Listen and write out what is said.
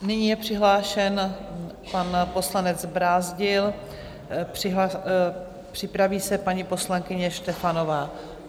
Nyní je přihlášen pan poslanec Brázdil, připraví se paní poslankyně Štefanová.